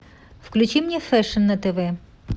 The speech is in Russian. включи мне фэшн на тв